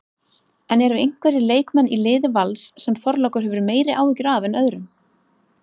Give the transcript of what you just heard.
En eru einhverjir leikmenn í liði Vals sem Þorlákur hefur meiri áhyggjur af en öðrum?